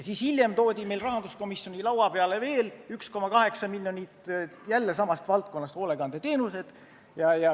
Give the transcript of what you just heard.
Siis hiljem toodi meile rahanduskomisjoni laua peale veel 1,8 miljonit, jälle samast valdkonnast – hoolekandeteenused.